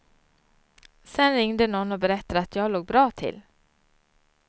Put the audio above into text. Sen ringde någon och berättade att jag låg bra till.